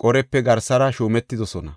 Qorepe garsara shuumetidosona.